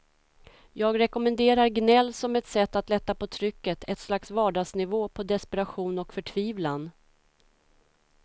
Jag rekommenderar gnäll som ett sätt att lätta på trycket, ett slags vardagsnivå på desperation och förtvivlan.